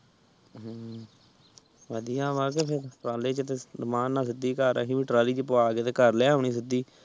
ਹਮ ਵਧੀਆ ਵਾ ਕੇ ਟਰਾਲੇ ਚ ਟਰਾਲੀ ਚ ਪੁਆਕੇ ਤੇ ਘਰ ਲੈ ਆਉਣੀ ਸੀ ਸਿਦੀ